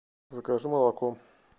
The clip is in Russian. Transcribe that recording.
закажи молоко